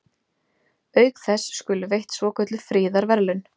Auk þess skulu veitt svokölluð friðarverðlaun.